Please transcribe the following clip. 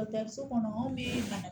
Dɔ so kɔnɔ anw bɛ bana